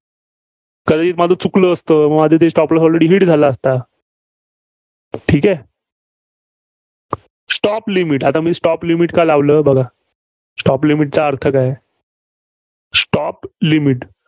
कदाचित माझं चुकलं असतं. माझं ते stop loss already hit झाला असता. ठीक आहे? stop limit आता मी stop limit का लावलं? बघा. Stop limit चा अर्थ काय? stop limit